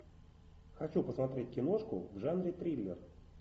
хочу посмотреть киношку в жанре триллер